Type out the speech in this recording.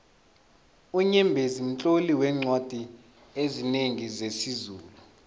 unyembezi mtloli weencwadi ezinengi zesizulu